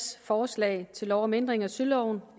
forslag til lov om ændring af søloven